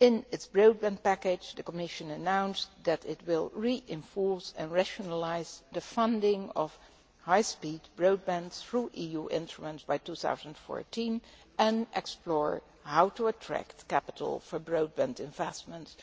In its programme package, the Commission announced that it will reinforce and rationalise the funding of high speed broadband through EU instruments by 2014 and explore how to attract capital for broadband investment